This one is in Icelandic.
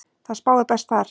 Það spáir best þar.